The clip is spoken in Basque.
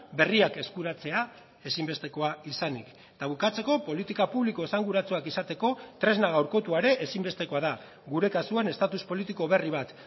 berriak eskuratzea ezinbestekoa izanik eta bukatzeko politika publiko esanguratsuak izateko tresna gaurkotua ere ezinbestekoa da gure kasuan estatus politiko berri bat